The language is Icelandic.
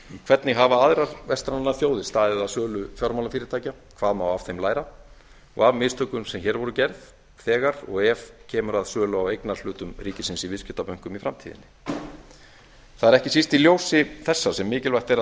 hvernig hafa aðrar vestrænar þjóðir staðið að sölu fjármálafyrirtækja hvað má af þeim læra af mistökum sem hér voru gerð þegar og ef kemur að sölu á eignarhlutum ríkisins í viðskiptabönkum í framtíðinni það er ekki síst í ljósi þessa sem mikilvægt er